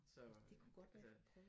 Så øh altså